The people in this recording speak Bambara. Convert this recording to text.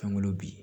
Fɛn wolo bi